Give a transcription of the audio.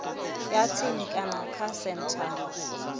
ya tsini kana kha senthara